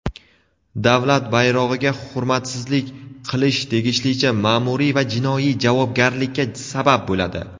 Davlat bayrog‘iga hurmatsizlik qilish tegishlicha maʼmuriy va jinoiy javobgarlikka sabab bo‘ladi.